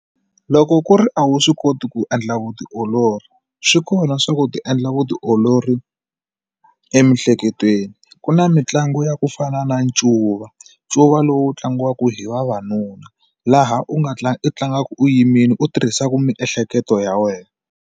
Loko ku ri a wu swi koti ku endla vutiolori swi kona swa ku ti endla vutiolori emihleketweni ku na mitlangu ya ku fana na ncuva ncuva lowu tlangiwaka hi vavanuna laha u nga tlanga u tlangaku u yimile u tirhisaku miehleketo ya wena.